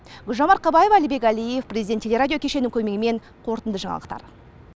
гүлжан марқабаева әлібек әлиев президент телерадио кешені көмегімен қорытынды жаңалықтар